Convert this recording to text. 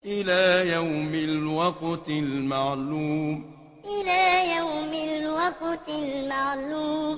إِلَىٰ يَوْمِ الْوَقْتِ الْمَعْلُومِ إِلَىٰ يَوْمِ الْوَقْتِ الْمَعْلُومِ